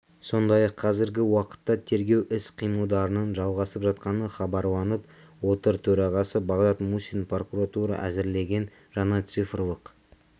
сондай-ақ қазіргі уақытта тергеу іс-қимылдарының жалғасып жатқаны хабарланып отыр төрағасы бағдат мусин прокуратура әзірлеген жаңа цифрлық